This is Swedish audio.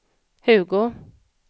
Hugo